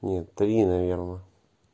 нет три наверное